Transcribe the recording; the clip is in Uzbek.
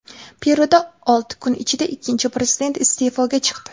Peruda olti kun ichida ikkinchi prezident iste’foga chiqdi.